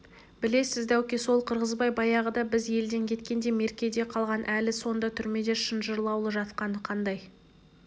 білесіз дәуке сол қырғызбай баяғыда біз елден кеткенде меркеде қалған әлі сонда түрмеде шынжырлаулы жатқаны қандай